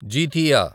జీతీయ